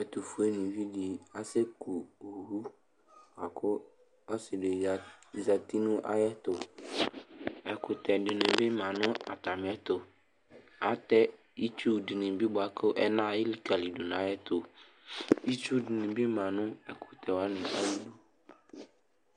Ɛtʋfʋe nìví ɖi asɛku owu akʋ ɔsi ɖi zɛti ŋu ayʋ ɛtu Ɛkʋtɛ ɖìŋí bi ma ŋu atami ɛtu Atɛ itsu ɖìŋí bi bʋakʋ ɛna elikaliɖu ŋu ayʋ ɛtu Itsu ɖìŋí bi ma ŋu ɛkʋtɛ waŋi ayʋ iɖu